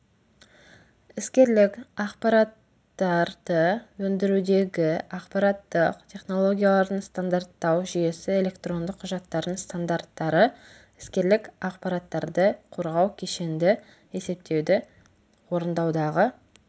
іскерлік ақпараттарды өндірудегі ақпараттық технологиялардың стандарттау жүйесі электронды құжаттардың стандарттары іскерлік ақпараттарды қорғау кешенді есептеуді орындаудағы